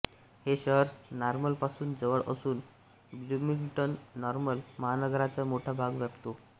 हे शहर नॉर्मलपासून जवळ असून ब्लूमिंग्टननॉर्मल महानगराचा मोठा भाग व्यापते